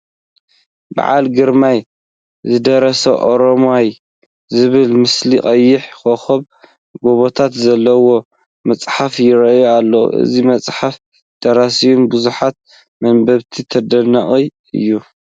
በዓሉ ግርማይ ዝደረሶ ኦሮማይ ዝብል ምስሊ ቀይሕ ኮኸብን ጎቦታትን ዘለዉዎ መፅሓፍ ይርአ ኣሎ፡፡ እዚ መፅሓፍን ደራሲኡን ብብዙሓት መንበብቲ ተደነቑ እዮም፡፡